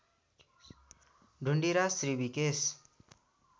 Dhundiraj Rishikesh